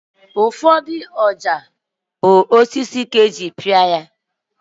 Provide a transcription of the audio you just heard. Ụfọdụ ọja bụ osisi ka eji pịa ha